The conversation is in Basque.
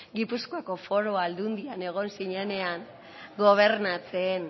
gipuzkoako foru aldundian egon zinenean gobernatzen